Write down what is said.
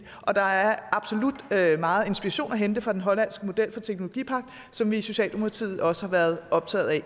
og der er absolut meget inspiration at hente fra den hollandske model for teknologipagt som vi i socialdemokratiet også har været optaget af